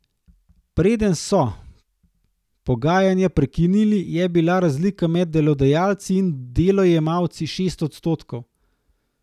Preden so pogajanja prekinili, je bila razlika med delodajalci in delojemalci šest odstotkov.